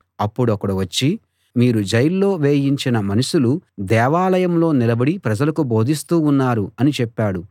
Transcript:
అప్పుడొకడు వచ్చి మీరు జైల్లో వేయించిన మనుషులు దేవాలయంలో నిలబడి ప్రజలకు బోధిస్తూ ఉన్నారు అని చెప్పాడు